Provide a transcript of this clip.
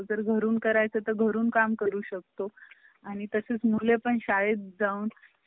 जर घरून करायचं तर घरून काम करू शकतो आणि तसाच मुळे पण शाळेत जाऊन